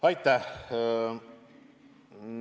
Aitäh!